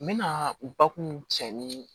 N bɛna bakun cɛ ni